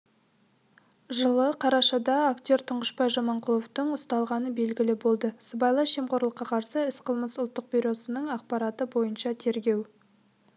жылы қарашада актертұңғышбай жаманқұловтың ұсталғаны белгілі болды сыбайлас жемқорлыққа қарсы іс-қимыл ұлттық бюросының ақпараты бойынша тергеу